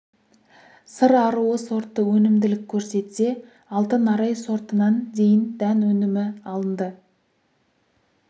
сыр аруы сорты өнімділік көрсетсе алтын арай сортынан дейін дән өнімі алынды